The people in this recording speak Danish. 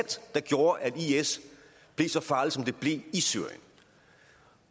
der gjorde at is blev så farlig som det blev i syrien